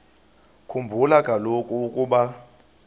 khumbula kaloku ukuba